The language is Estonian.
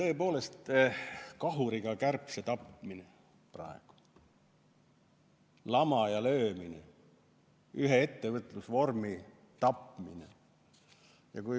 See on tõepoolest kahuriga kärbse tapmine praegu, lamaja löömine, ühe ettevõtlusvormi tapmine.